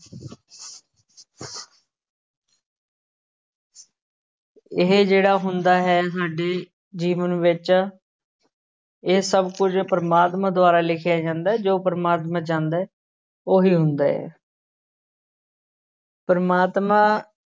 ਇਹ ਜਿਹੜਾ ਹੁੰਦਾ ਹੈ ਸਾਡੇ ਜੀਵਨ ਵਿੱਚ ਇਹ ਸਭ ਕੁੱਝ ਪ੍ਰਮਾਤਮਾ ਦੁਆਰਾ ਲਿਖਿਆ ਜਾਂਦਾ ਹੈ ਜੋ ਪ੍ਰਮਾਤਮਾ ਚਾਹੁੰਦਾ ਹੈ ਉਹੀ ਹੁੰਦਾ ਹੈ ਪ੍ਰਮਾਤਮਾ